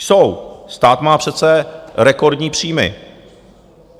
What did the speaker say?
Jsou, stát má přece rekordní příjmy.